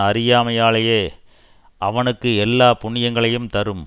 அறியாமலேயே அவனுக்கு எல்லா புண்ணியங்களையும் தரும்